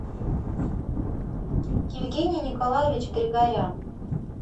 евгений николаевич григорян